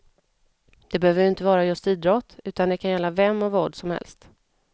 Det behöver ju inte vara just idrott, utan det kan gälla vem och vad som helst.